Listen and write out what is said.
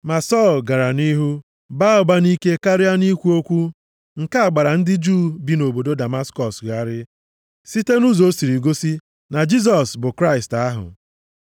Ma Sọl gara nʼihu baa ụba nʼike karịa na ikwu okwu nke gbara ndị Juu bi nʼobodo Damaskọs gharịị site nʼụzọ o siri gosi na Jisọs bụ Kraịst ahụ.